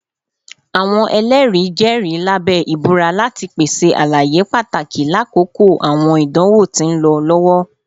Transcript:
Awọn ẹlẹri jẹri labẹ ibura lati pese alaye pataki lakoko awọn idanwo ti nlọ lọwọ